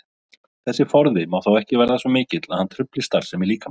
Þessi forði má þó ekki verða svo mikill að hann trufli starfsemi líkamans.